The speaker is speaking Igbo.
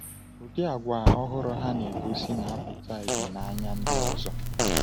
Ụdị àgwà ọhụrụ ha na-egosi na-apụta ìhè n’anya ndị ọzọ.